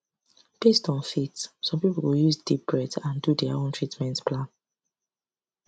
based on faith some people go use deep breath and do their own treatment plan